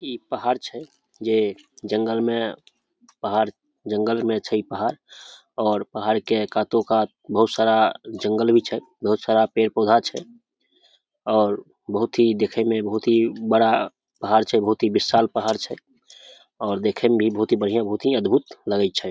इ पहाड़ छै जे जंगल में पहाड़ जंगल में छै इ पहाड़ और पहाड़ के कातो-कात बहुत सारा जंगल भी छै बहुत सारा पेड़-पौधा छै और बहुत ही देखे में बहुत ही बड़ा पहाड़ छै बहुत ही विशाल पहाड़ छै और देखे में भी बहुत ही बढ़िया बहुत ही अद्भूत लगे छै।